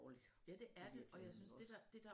I virkeligheden også